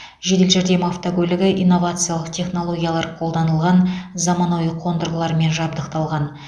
жедел жәрдем автокөлігі инновациялық технологиялар қолданылған заманауи қондырғылармен жабдықталған